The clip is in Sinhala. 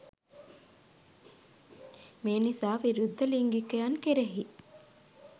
මේ නිසා විරුද්ධ ලිංගිකයන් කෙරෙහි